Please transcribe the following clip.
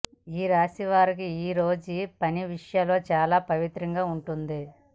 ఈ రాశి వారికి ఈరోజు పని విషయంలో చాలా పవిత్రంగా ఉంటుంది